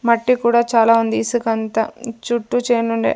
మట్టి కూడా చాలా ఉంది ఇసుకంతా చుట్టూ చేనుండే --